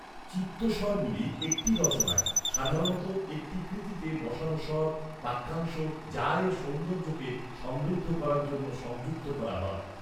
চিত্তস্বরগুলি একটি রচনায়, সাধারণত একটি কৃতিতে, বসানো স্বর বাক্যাংশ যা এর সৌন্দর্যকে সমৃদ্ধ করার জন্য সংযুক্ত করা হয়।